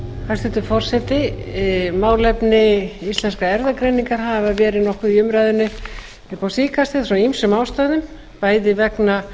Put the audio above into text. hæstvirtur forseti málefni íslenskrar erfðagreiningar hafa verið nokkuð í umræðunni upp á síðkastið af ýmsum ástæðum bæði vegna